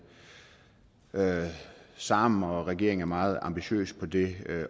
sammen og regeringen er meget ambitiøs på det